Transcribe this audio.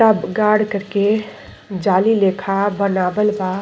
पूरा गाड कर के जाली लेखा बनावल बा।